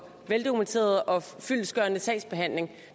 veldokumenteret og fyldestgørende sagsbehandling